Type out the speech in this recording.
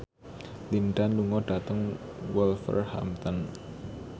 Lin Dan lunga dhateng Wolverhampton